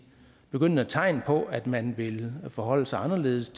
begyndende tegn på at man vil forholde sig anderledes